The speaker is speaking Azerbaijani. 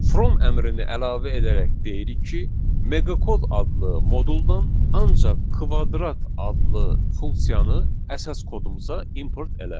From əmrini əlavə edərək deyirik ki, meqa kod adlı moduldən ancaq kvadrat adlı funksiyanı əsas kodumuza import elə.